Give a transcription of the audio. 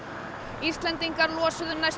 Íslendingar losuðu næstum